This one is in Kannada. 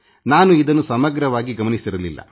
ನಾನು ಇದನ್ನು ಸಮಗ್ರವಾಗಿ ಗಮನಿಸಿರಲಿಲ್ಲ